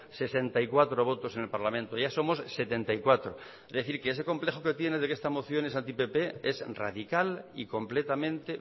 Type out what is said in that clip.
sesenta y cuatro votos en el parlamento ya somos setenta y cuatro es decir que ese complejo que tiene de que esta moción es anti pp es radical y completamente